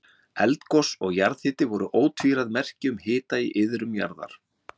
Eldgos og jarðhiti voru ótvíræð merki um hita í iðrum jarðar.